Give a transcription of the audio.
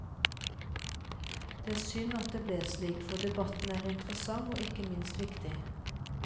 Det er synd at det ble slik, for debatten er interessant og ikke minst viktig.